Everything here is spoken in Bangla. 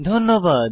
ধন্যবাদ